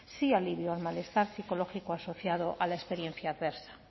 sí alivio al malestar psicológico asociado a la experiencia adversa